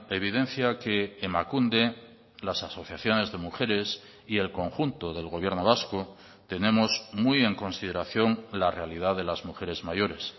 evidencia que emakunde las asociaciones de mujeres y el conjunto del gobierno vasco tenemos muy en consideración la realidad de las mujeres mayores